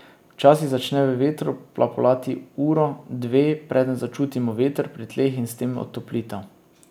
Včasih začne v vetru plapolati uro, dve, preden začutimo veter pri tleh in s tem otoplitev.